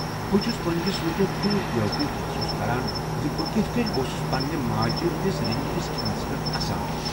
بہٕ چُھس ووٚنہِ یہِ سونچِتھ تِیوٗت بےٚ وقوٗف محسوٗس کران زِ بہِ كِتھ كٕنۍ اوسُس پنٛنہِ ماجہٕ ہٕنٛدس رٔنِٛمٕتس کھٮ۪نس پٮ۪ٹھ اسان۔